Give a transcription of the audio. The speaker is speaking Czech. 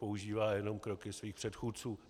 Používá jenom kroky svých předchůdců.